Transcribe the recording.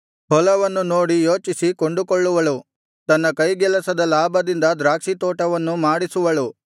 ಹೊಲವನ್ನು ನೋಡಿ ಯೋಚಿಸಿ ಕೊಂಡುಕೊಳ್ಳುವಳು ತನ್ನ ಕೈಗೆಲಸದ ಲಾಭದಿಂದ ದ್ರಾಕ್ಷಿತೋಟವನ್ನು ಮಾಡಿಸುವಳು